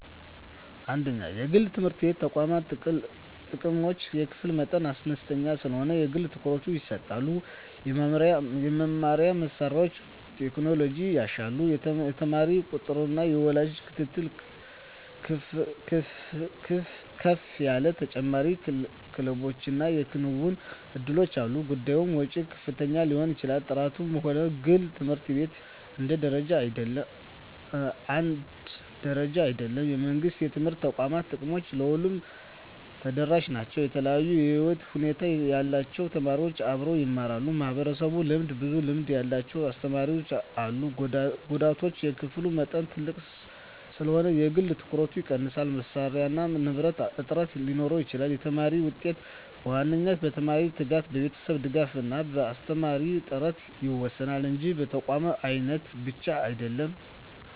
1) የግል የትምህርት ተቋማት ጥቅሞች የክፍል መጠን አነስተኛ ስለሆነ የግል ትኩረት ይሰጣል የመማሪያ መሳሪያዎችና ቴክኖሎጂ ይሻላሉ የተማሪ ቁጥጥርና የወላጅ ክትትል ከፍ ይላል ተጨማሪ ክለቦችና የክንውን እድሎች አሉ ጉዳቶች ወጪ ከፍተኛ ሊሆን ይችላል ጥራት በሁሉም ግል ት/ቤቶች አንድ ደረጃ አይደለም የመንግሥት የትምህርት ተቋማት ጥቅሞች ለሁሉም ተደራሽ ናቸው የተለያዩ የህይወት ሁኔታ ያላቸው ተማሪዎች አብረው ይማራሉ (ማህበራዊ ልምድ) ብዙ ልምድ ያላቸው አስተማሪዎች አሉ ጉዳቶች የክፍል መጠን ትልቅ ስለሆነ የግል ትኩረት ይቀንሳል መሳሪያና ንብረት እጥረት ሊኖር ይችላል የተማሪ ውጤት በዋናነት በተማሪው ትጋት፣ በቤተሰብ ድጋፍ እና በአስተማሪ ጥራት ይወሰናል እንጂ በተቋም አይነት ብቻ አይደለም።